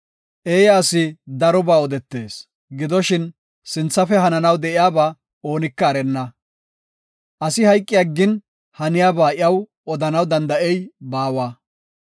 Eeya asi darobaa odetees. Gidoshin, sinthafe hananaw de7iyaba oonika erenna. Asi hayqi aggin, haniyaba iyaw odanaw danda7ey baawa.